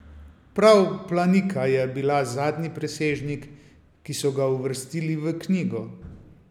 Prav planika je bila zadnji presežnik, ki so ga uvrstili v knjigo.